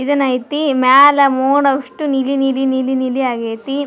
ಎದನೈತಿ ಮೇಲಾ ಅಸ್ಟು ಮೋಡ ನೀಲಿ ನೀಲಿ ನೀಲಿ ಆಗೈತಿ.